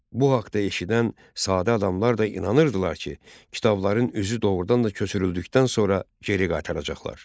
Bu haqda eşidən sadə adamlar da inanırdılar ki, kitabların üzü doğurdan da köçürüldükdən sonra geri qaytaracaqlar.